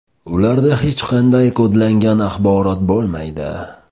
Ularda hech qanday kodlangan axborot bo‘lmaydi.